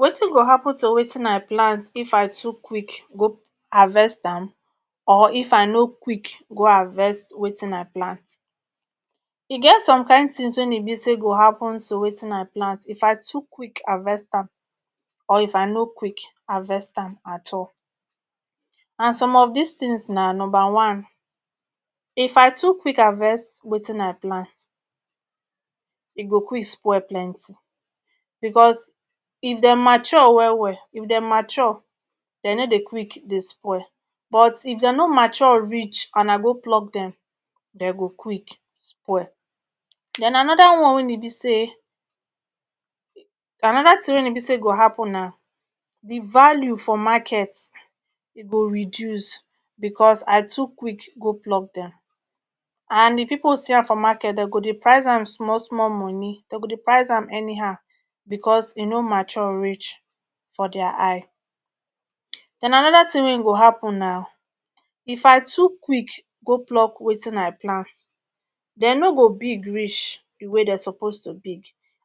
wetin go hapun to wetin i plant if i too quick go harvest am or if i no quick go harvest wetin i plant e get some kind tins wein e be say go hapun to wetin i plant if i too quick harvest am or if i no quick harvest am at all and some of dis tins na numba one if i too quick harvest wetin i plant e go quick spoil plenty becos if de mature well well if de mature de nor dey quick dey spoil but if de no mature reach and I go pluck dem dey go quick spoil den anoda one wein be say anoda tin wein be say go happun na di value for market e go reduce becos I too quick go pluck dem and if pipo see am for market de go dey price am small small moni de go dey price am anyhow because e nor mature reach for dia eye den anoda tin wein go happun na if I too quick go pluck wetin I plant de nor go big reach di way de suppose to be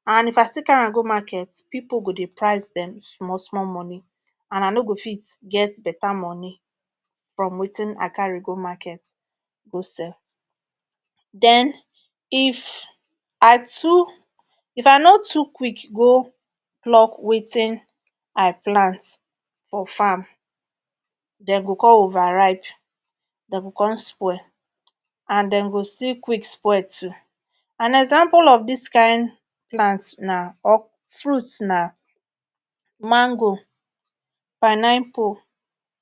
and if I still carry am go market pipo go dey price dem small small moni and I no go fit get beta moni from wetin I carry go market go sell den if I too if I no too quick go pluck wetin I plant for farm dey go con over ripe dey go con spoil and den go still quick spoil too an example of dis kind plant na or fruit na mango paniapo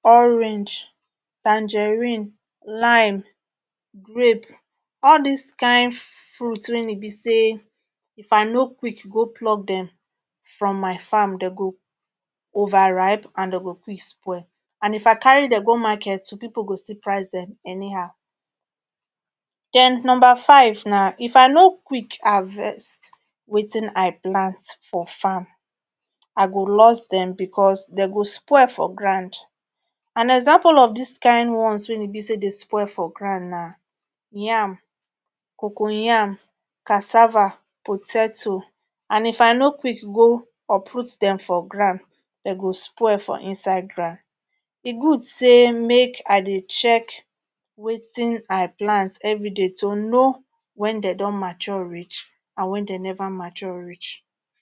orange tangerine lime grape all dis kin fruits wein e be say if I no quick go pluck dem from my farm de go overripe and de go quick spoil and if I carry dem go market people go still price dem anyhow den numba 5 na if I no quick harvest wetin i plant for farm I go lost dem becos dey go spoil for grand an example of dis kin ones wein be say dey spoil for grand na yam cocoyam cassava poteto and if I no quick go uproot dem for grand de go spoil for inside grand e good say make I dey check wetin I plant everyday to no wen de don mature reach and wen dey never mature reach